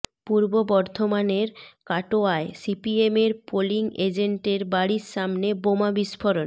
পূর্ব বর্ধমানের কাটোয়ায় সিপিএমের পোলিং এজেন্টের বাড়ির সামনে বোমা বিস্ফোরণ